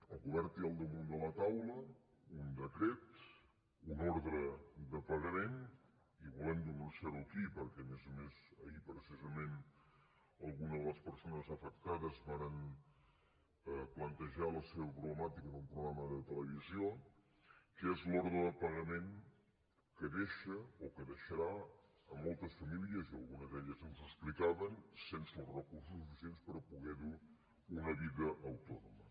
el govern té al damunt de la taula un decret una ordre de pagament i volem denunciarho aquí perquè a més a més ahir precisament algunes de les persones afectades varen plantejar la seva problemàtica en un programa de televisió que és l’ordre de pagament que deixa o que deixarà moltes famílies i algunes d’elles ens ho explicaven sense els recursos suficients per poder dur una vida autònoma